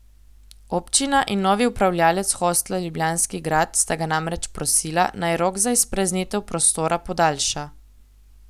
Občina in novi upravljavec hostla Ljubljanski grad sta ga namreč prosila, naj rok za izpraznitev prostora podaljša.